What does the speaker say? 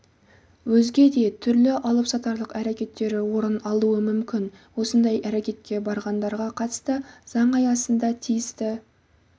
өзге де түрлі алыпсатарлық әрекеттері орын алуы мүмкін осындай әрекетке барғандарға қатысты заң аясында тиісті